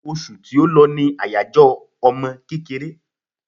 Osù tí ó lọ ní àyájọ́ ọmọ kékeré